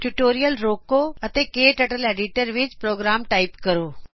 tutorial ਰੋਕੋ ਅਤੇ KTurtle editor ਵਿਚ ਪ੍ਰੋਗਰਾਮ ਟਾਇਪ ਕਰੋ